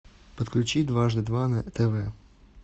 подключи дважды два на тв